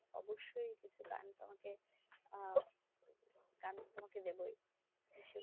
অবশ্যই কিছু গান তোমাকে আহ গান তো তোমাকে দেবই সেগুলো